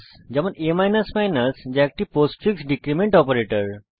যেমন a যা একটি পোস্টফিক্স ডীক্রীমেন্ট অপারেটর